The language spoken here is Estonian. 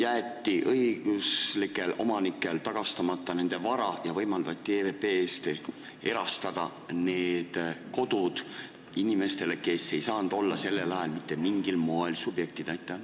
Osale õigusjärgsetele omanikele jäeti tagastamata nende vara ja võimaldati EVP-de eest erastada need pinnad inimestel, kes ei saanud sellel ajal mitte mingil moel õigustatud subjektid olla.